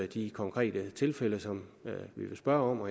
de konkrete tilfælde som vi vil spørge om og